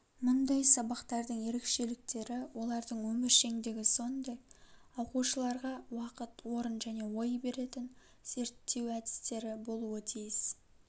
мұндай сабақтардың ерекшеліктері олардың өміршеңдігі сондай-ақ оқушыларға уақыт орын және ой беретін зерттеу әдістері болуы тиіс